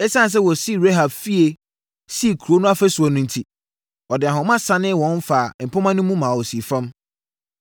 Esiane sɛ wɔsii Rahab fie sii kuro no ɔfasuo so enti, ɔde ahoma sianee wɔn faa mpomma mu ma wɔsii fam.